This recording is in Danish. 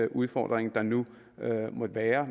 udfordringer der nu måtte være